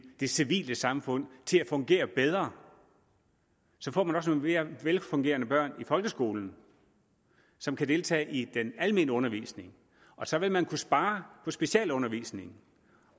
det civile samfund til at fungere bedre så får man også nogle mere velfungerende børn i folkeskolen som kan deltage i den almene undervisning og så vil man kunne spare på specialundervisningen